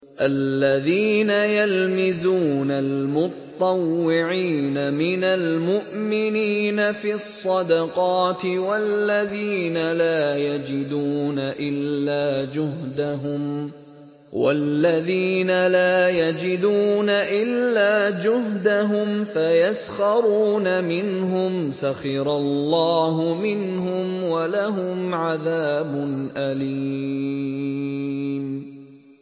الَّذِينَ يَلْمِزُونَ الْمُطَّوِّعِينَ مِنَ الْمُؤْمِنِينَ فِي الصَّدَقَاتِ وَالَّذِينَ لَا يَجِدُونَ إِلَّا جُهْدَهُمْ فَيَسْخَرُونَ مِنْهُمْ ۙ سَخِرَ اللَّهُ مِنْهُمْ وَلَهُمْ عَذَابٌ أَلِيمٌ